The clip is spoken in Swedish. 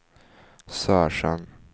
Sörsjön